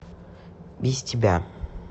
без тебя